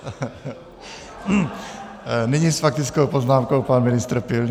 Nyní s faktickou poznámkou pan ministr Pilný.